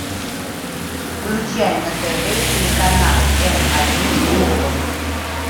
включай на тв телеканал м один глобал